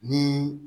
Ni